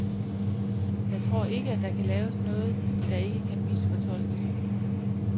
Jeg tror ikke, at der kan laves noget, der ikke man misfortolkes.